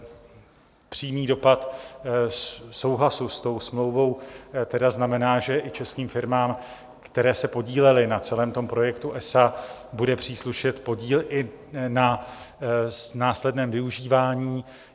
Přímý dopad souhlasu s tou smlouvou tedy znamená, že i českým firmám, které se podílely na celém tom projektu ESA, bude příslušet podíl i na následném využívání.